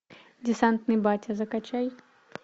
десантный батя закачай